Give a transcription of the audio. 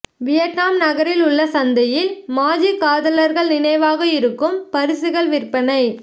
Vietnam நகரில் உள்ள சந்தையில் மாஜி காதலர்கள் நினைவாக இருக்கும் பரிசுகள் விற்பனை